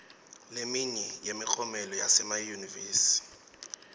leminye yemiklomelo yasemayunivesi